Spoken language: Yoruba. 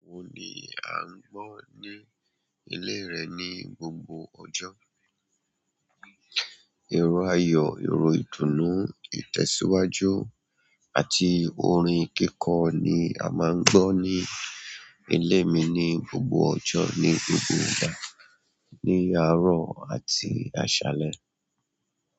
Iro wo ni a n gbọ ni ile rẹ ni gbogbo ọjọ. Ìró ayọ̀, ìró ìdùnnú, ìtẹ̀síwájú àti orin kíkọ ni a máa ń gbọ́ ní ilé mi ní gbogbo ọjọ́ ní gbogbo ìgbà, ní àárọ̀ àti àṣálẹ́.